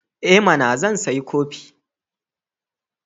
I mana! Zan sayi kifi.